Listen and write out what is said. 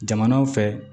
Jamanaw fɛ